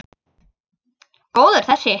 Góður þessi!